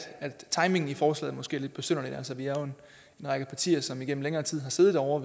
timingen i forslaget måske er lidt besynderlig altså vi er jo en række partier som igennem længere tid har siddet ovre